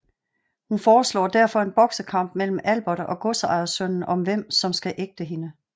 Hun foreslår derfor en boksekamp mellem Albert og godsejersønnen om hvem som skal ægte hende